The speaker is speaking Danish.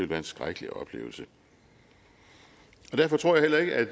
være en skrækkelig oplevelse derfor tror jeg ikke at